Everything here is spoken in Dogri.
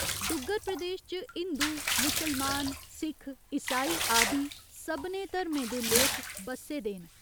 डुग्गर प्रदेश च हिंदू मुसलमान, सिख, ईसाई आदि सभनें धर्में दे लोक बस्से दे न।